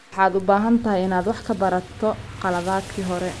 Waxaad u baahan tahay inaad wax ka barato khaladaadkii hore.